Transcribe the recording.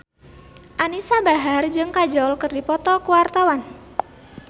Anisa Bahar jeung Kajol keur dipoto ku wartawan